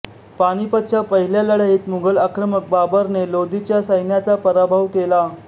पानिपतच्या पहिल्या लढाईत मुघल आक्रमक बाबरने लोदीच्या सैन्याचा पराभव केला